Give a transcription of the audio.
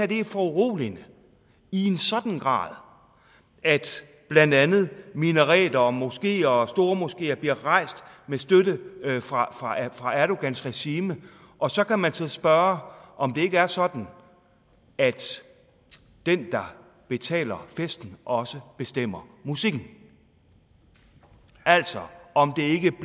det er foruroligende i en sådan grad at blandt andet minareter og moskeer og stormoskeer bliver rejst med støtte fra fra erdogans regime og så kan man så spørge om det ikke er sådan at den der betaler festen også bestemmer musikken altså om